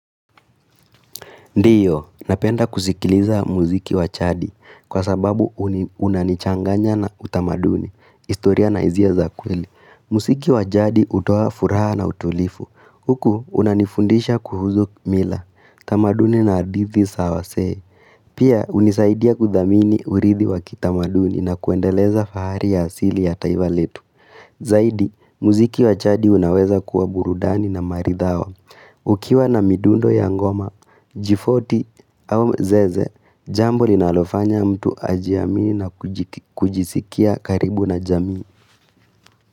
Ndiyo, napenda kusikiliza muziki wa chadi kwa sababu unanichanganya na utamaduni, istoria na izia za kweli. Musiki wajadi hutoa furaha na utulifu. Huku unanifundisha kuhuzu mila, tamaduni na adithi sawasee. Pia hunisaidia kudamini urithi wakitamaduni na kuendeleza fahari ya asili ya taivaletu. Zaidi, muziki wachadi unaweza kuwa burudani na maridhawa. Ukiwa na midundo ya ngoma, jifoti au zeze, jambo linaalofanya mtu ajiamini na kujisikia karibu na jamii.